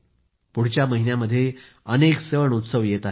पुढच्या महिन्यामध्ये अनेक सणउत्सव येत आहेत